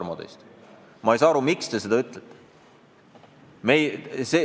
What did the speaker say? Ma tõesti ei saa aru, miks te seda ütlete.